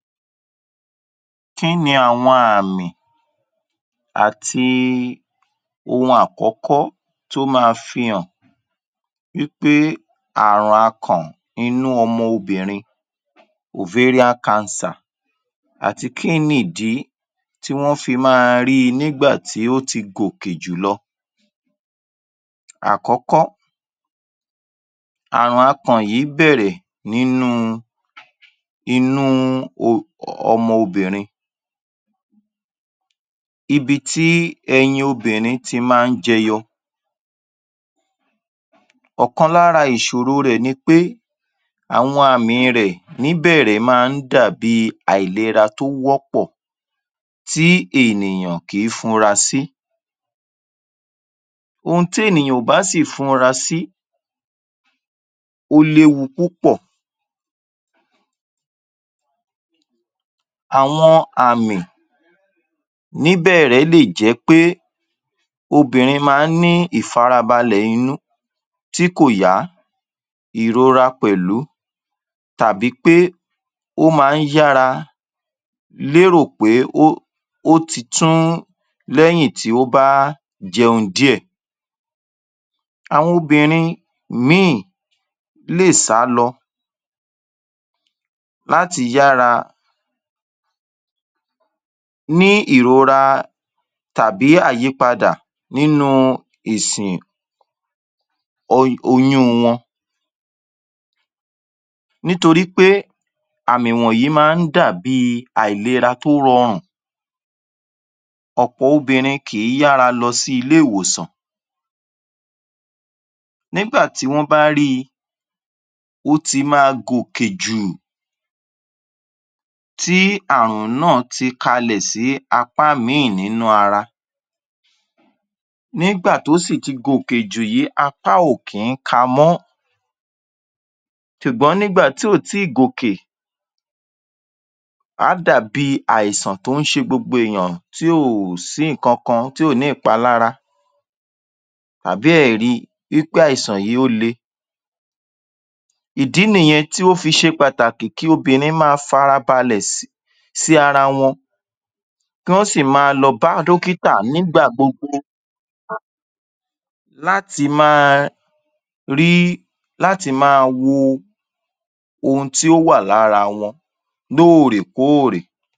Kí ni àwọn àmì àti ohun àkọ́kọ́ tó ma fi hàn wí pé àrùn akàn inú ọmọbìnrin àti kí ni ìdí tí wọ́n fi ma ri nígbà tí ó ti gòkè jùlọ. Àkọ̀kọ̀, àrùn akàn yìí bẹ̀rẹ̀ nínú inú ọmọbìnrin ibití ẹyin obìnrin ti má jẹyọ ọ̀kan lára ìsòro rẹ̀ nipé, àwọn àmì rẹ̀ ní bẹ̀rẹ̀ má dàbí í àìlera tó wọ́ pọ̀ tí ènìyàn kí funra sí, ohun tí èniyàn kò bá sí ì funra sí ó lé wu púpọ̀. Àwọn àmì ní bẹ̀rẹ̀ lé jẹ́ pé obìnrin ma ń ní ìfarabalẹ̀ inú tí kò yá, ìrora pẹ̀lú tàbí pé ó má yára lérò pé ó ti tún lẹ́yìn tí ó bá jẹun díẹ̀. Àwọn obìnrin mí ì lé è sálọ láti yára ní ìrora tàbí àyípadà nínú ìsìn oyún wọn nítorípé àmì wọ̀nyí má dàbí àìlera tó rọrùn, ọ̀pọ̀ obìnrin kì ń yára lọ sí ilé ìwòsàn. Nígbà tí wọ́n bá rí i ó́ ti ma gòkè jù ù tí àrùn náà ti kalẹ̀ sí apá mí ì nínú ara nígbà tí ó sì ti gòkè jù yí, apá ò kì ń ka mọ́ sùgbọ́n nígbà tí ò tí gòkè á dà bí àìsàn tí ó ṣe gbogbo ènìyàn, tí kò sí ǹkankan, tí ò ní ìpalára àbí a ri wí pé àìsàn yí ó le. Ìdì nìyẹn tí ó fi ṣe pàtàkì kí obìnrin ma farabalẹ̀ sì ara wọn kí wọ́n sì ma lọ bá dọ́kítà nìgbà gbogbo láti má a rí láti ma wo ohun tí ó wà lára wọn lórèkórè.